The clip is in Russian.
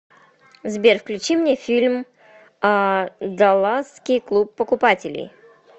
сбер включи мне фильм а даласский клуб покупателей